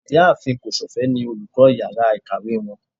ìyáàfín kosofe ní olukọ ìyára ikáwe wón.